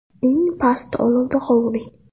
Eng past olovda qovuring.